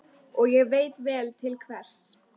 Og ég veit vel til hvers.